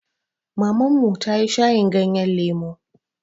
Maman mu ta yi shayin ganyen lemu.